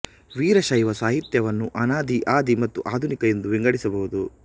ವೀರಶೈವ ಸಾಹಿತ್ಯವನ್ನು ಅನಾದಿ ಆದಿ ಮತ್ತು ಆಧುನಿಕ ಎಂದು ವಿಂಗಡಿಸಬಹುದು